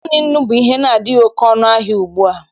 Naanị nnu bụ ihe adịghị oke ọnụahịa ugbua.